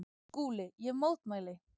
SKÚLI: Ég mótmæli!